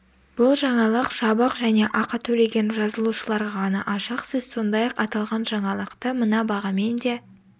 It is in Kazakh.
бұл жаңалық жабық және ақы төлеген жазылушыларға ғана ашық сіз сондай-ақ аталған жаңалықты мына бағамен де